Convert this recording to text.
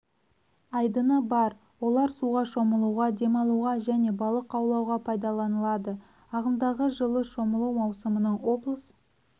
айдыны бар олар суға шомылуға демалуға және балық аулауға пайдаланылады ағымдағы жылы шомылу маусымының облыс